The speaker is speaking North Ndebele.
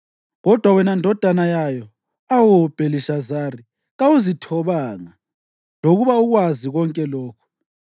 Kodwa wena ndodana yayo, awu Bhelishazari, kawuzithobanga, lokuba ukwazi konke lokhu.